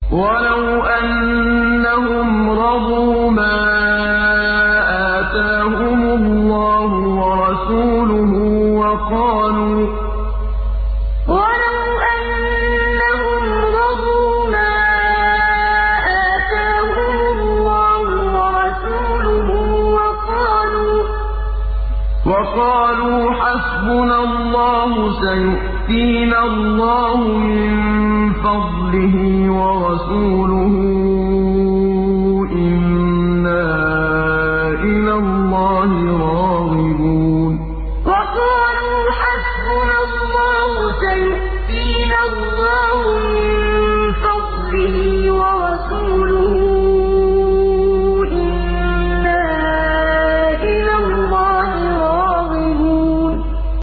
وَلَوْ أَنَّهُمْ رَضُوا مَا آتَاهُمُ اللَّهُ وَرَسُولُهُ وَقَالُوا حَسْبُنَا اللَّهُ سَيُؤْتِينَا اللَّهُ مِن فَضْلِهِ وَرَسُولُهُ إِنَّا إِلَى اللَّهِ رَاغِبُونَ وَلَوْ أَنَّهُمْ رَضُوا مَا آتَاهُمُ اللَّهُ وَرَسُولُهُ وَقَالُوا حَسْبُنَا اللَّهُ سَيُؤْتِينَا اللَّهُ مِن فَضْلِهِ وَرَسُولُهُ إِنَّا إِلَى اللَّهِ رَاغِبُونَ